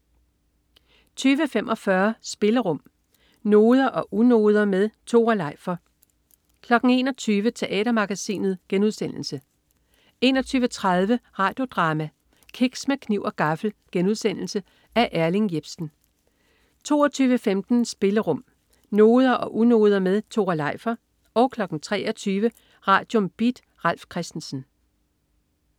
20.45 Spillerum. Noder og unoder med Tore Leifer 21.00 Teatermagasinet* 21.30 Radio Drama: Kiks med kniv og gaffel.* Af Erling Jepsen 22.15 Spillerum. Noder og unoder med Tore Leifer 23.00 Radium. Beat. Ralf Christensen